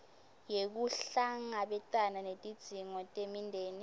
yekuhlangabetana netidzingo temindeni